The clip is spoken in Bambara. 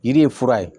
Yiri ye fura ye